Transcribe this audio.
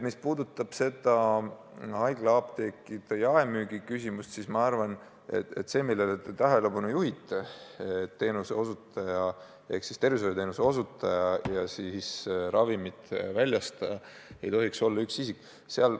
Mis puudutab haiglaapteekide jaemüügi küsimust, siis ma arvan, et tervishoiuteenuse osutaja ja ravimite väljastaja ei tohiks olla üks isik.